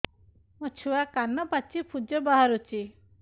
ମୋ ଛୁଆ କାନ ପାଚି ପୂଜ ବାହାରୁଚି